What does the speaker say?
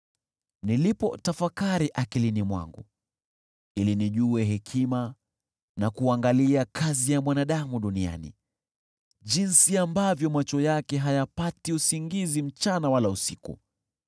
Nilipotafakari akilini mwangu ili nijue hekima na kuangalia kazi ya mwanadamu duniani, jinsi ambavyo macho yake hayapati usingizi mchana wala usiku,